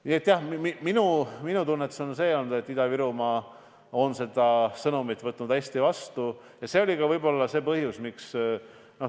Nii et jah, minu tunnetus on olnud selline, et Ida-Virumaa on võtnud selle sõnumi vastu hästi.